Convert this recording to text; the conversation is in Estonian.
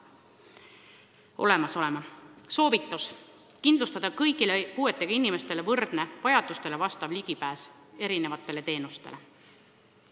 Soovitus: kindlustada kõigile puuetega inimestele võrdne, vajadustele vastav ligipääs erinevatele teenustele.